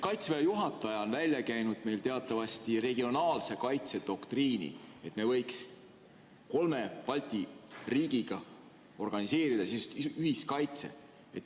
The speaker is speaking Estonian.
Kaitseväe juhataja on teatavasti välja käinud regionaalse kaitse doktriini, st me võiks kolme Balti riigiga organiseerida ühiskaitse.